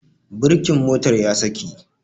Birkin motar ya saki